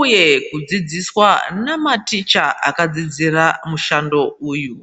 uye kudzidziswa namaticha akadzidzira mushando uyu.